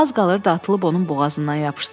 Az qalırdı atılıb onun boğazından yapışsın.